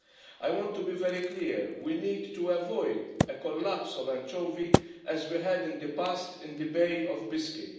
I want to be very clear we need to avoid a collapse of anchovy as we had in the past in the Bay of Biscay.